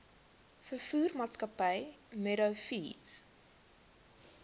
veevoermaatskappy meadow feeds